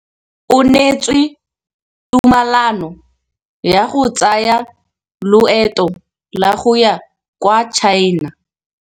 O neetswe tumalanô ya go tsaya loetô la go ya kwa China.